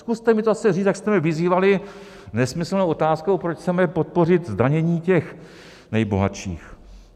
Zkuste mi to zase říct, jak jste mě vyzývali nesmyslnou otázkou, proč chceme podpořit zdanění těch nejbohatších.